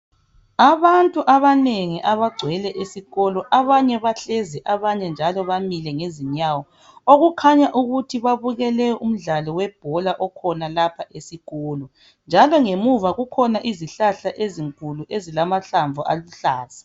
Abantu abanengi abagcwele esikolo. Abanye bahllezi, abanye bamile ngezinyawo. Okukhanya ukuthi babukeke umdlalo webhola, okhona lapha esikolo, njalo ngemuva kukhona izihlahja ezinkuluu. Ezilamahlamvu aluhlaza.